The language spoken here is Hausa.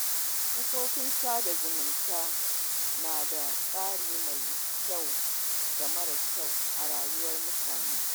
Kafofin sada zumunta na da tasiri mai kyau da mara kyau a rayuwar mutane.